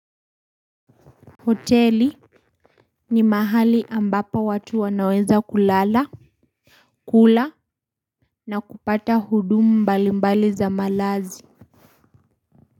Hoteli ni mahali ambapo watu wanaweza kulala, kula na kupata hudumu mbalimbali za malazi.